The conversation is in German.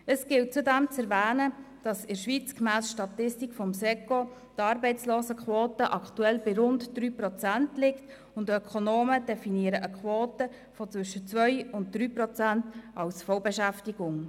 Es gilt zudem zu erwähnen, dass in der Schweiz gemäss Statistik des Staatssekretariats für Wirtschaft (SECO) die Arbeitslosenquote aktuell bei rund 3 Prozent liegt, und Ökonomen definieren eine Quote von zwischen 2 und 3 Prozent als Vollbeschäftigung.